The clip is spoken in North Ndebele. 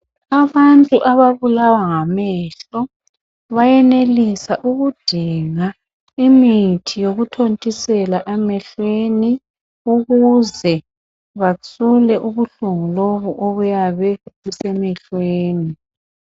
Abantu ababulawa ngamehlo bayenelisa ukudinga imithi yokuthontisela emehlweni ukuze bathobe ubuhlungu lobu obuyabe busemehlweni.